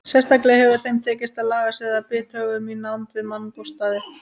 Sérstaklega hefur þeim tekist að laga sig að bithögum í nánd við mannabústaði.